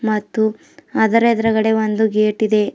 ಮತ್ತು ಅದರ ಎದ್ರುಗಡೆ ಒಂದು ಗೇಟ್ ಇದೆ.